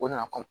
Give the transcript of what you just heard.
O nana kɔ